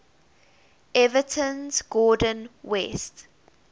everton's gordon west